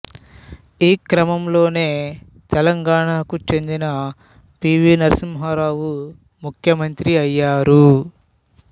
ఈ క్రమంలోనే తెలంగాణకు చెందిన పీవీ నర్సింహారావు ముఖ్యమంత్రి అయ్యారు